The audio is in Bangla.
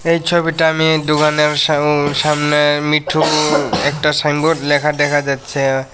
এই ছবিটা আমি দুকানের সাম-সামনে মিঠু একটা সাইনবোর্ড ল্যাখা দেখা যাচ্ছে।